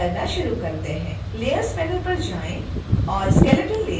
layers panel पर जाएं और skeleton layer चुनें